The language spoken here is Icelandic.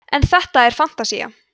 en þetta er fantasía